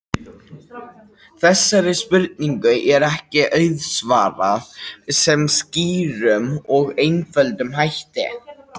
Þessari spurningu er ekki auðsvarað með skýrum og einföldum hætti.